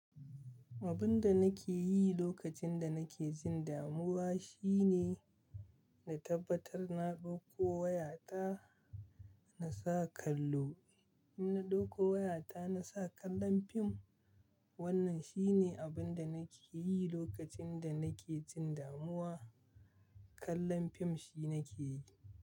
Abun da nake yi lokacin da nake jin damuwa shine na tabbatar na ɗauko wayata na sa kallo. In na ɗauko wayata na sa kallon fim. Wannan shi ne abin da nake yi lokacin da nake jin damuwa. Kallon fim shi nake yi.